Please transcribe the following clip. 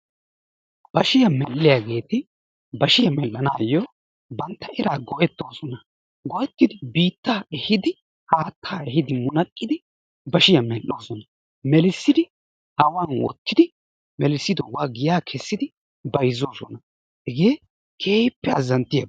Bashshiyaa medhiyaageti bashshiyaa medhiyoogan bantta eraa go"ettoosona. waayettidi biittaa eehidi haattaa eehhidi munaqqiidi bashshiyaa medhdhoosona. meellisidi awan woottidi melissidoogaa giyaa keessidi bayzzoosona. hegee keehippe azzanttiyaaba.